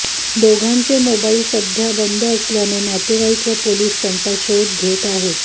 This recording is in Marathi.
दोघांचे मोबाईल सध्या बंद असल्याने नातेवाईक व पोलिस त्यांचा शोध घेत आहेत